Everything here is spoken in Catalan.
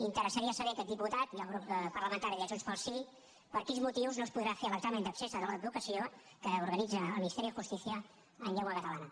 interessaria saber a aquest diputat i al grup parlamentari de junts pel sí per quins motius no es podrà fer l’examen d’accés a l’advocacia que organitza el ministerio de justicia en llengua catalana